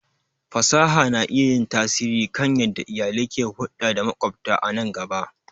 Fasaha na iya yin tasiri kan yadda iyalai ke hulɗa da maƙwabta a nan gaba.